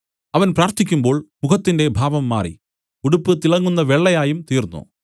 അവൻ പ്രാർത്ഥിക്കുമ്പോൾ മുഖത്തിന്റെ ഭാവം മാറി ഉടുപ്പ് തിളങ്ങുന്ന വെള്ളയായും തീർന്നു